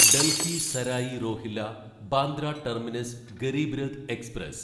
Delhi Sarai Rohilla Bandra terminus Garib Rath express